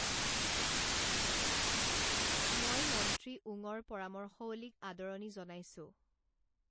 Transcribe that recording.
মই মন্ত্ৰী ওঙৰ পৰামৰ্শৱলীক আদৰণী জনাইছো।